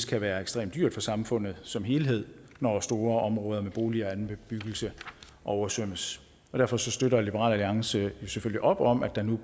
kan være ekstremt dyrt for samfundet som helhed når store områder med boliger og anden bebyggelse oversvømmes derfor støtter liberal alliance selvfølgelig op om at det nu